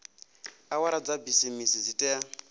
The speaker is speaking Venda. awara dza bisimisi dzi tea